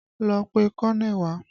Lọ pe kọ́nẹ̀ wá!